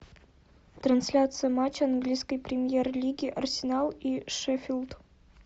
трансляция матча английской премьер лиги арсенал и шеффилд